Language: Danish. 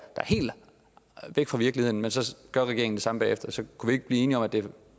helt væk fra virkeligheden men så gør regeringen det samme bagefter kunne vi ikke blive enige om at det